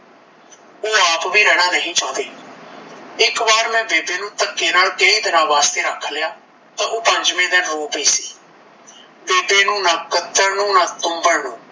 ਓਹ ਆਪ ਵੀ ਰਹਿਣਾ ਨਹੀਂ ਚਾਹੁੰਦੇ ਇੱਕ ਵਾਰ ਮੈਂ ਬੇਬੇ ਨੂੰ ਧੱਕੇ ਨਾਲ ਕਈ ਦਿਨਾਂ ਵਾਸਤੇ ਰੱਖ ਲਿਆ ਤਾਂ ਓਹ ਪੰਜਵੇ ਦਿਨ ਰੋ ਪਈ ਸੀ ਬੇਬੇ ਨੂੰ ਨਾਂ ਕੱਤਣ ਨੂੰ ਨਾਂ ਤੂਂਬਣ ਨੂੰ